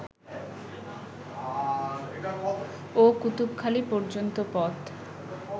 ও কুতুবখালি পর্যন্ত পথ